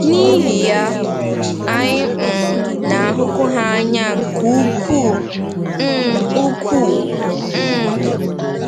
N’ihi ya, anyị um na-ahụkwu ha n’anya nke ukwuu. um ukwuu. um